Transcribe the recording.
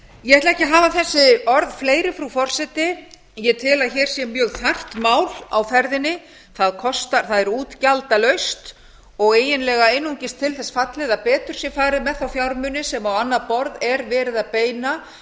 ég ætla ekki að hafa þessi orð fleiri frú forseti ég tel að hér sé ég þarft mál á ferðinni það er útgjaldalaust og eiginlega einungis til þess fallið að betur sé farið með þá fjármuni sem á annað borð er verið að beina